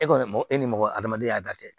E kɔni e ni mɔgɔ adamadenya y'a da kɛ